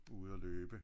Ude at løbe så